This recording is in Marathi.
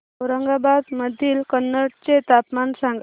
औरंगाबाद मधील कन्नड चे तापमान सांग